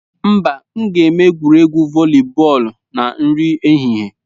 Mba, m ga-eme egwuregwu voli bọọlụ na nri ehihie.